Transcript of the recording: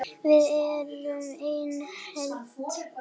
Við erum ein heild!